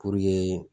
Puruke